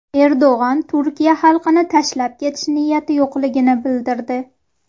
Erdo‘g‘on Turkiya xalqini tashlab ketish niyati yo‘qligini bildirdi.